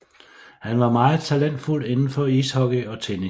Han var meget talentfuld inden for ishockey og tennis